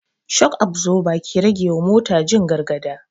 Shok absoba ke rage wa mota jin gargada